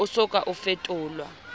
o so ka o fetolelwa